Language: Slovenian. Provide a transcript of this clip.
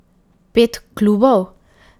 Pet klubov?